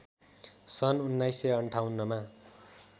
सन् १९५८ मा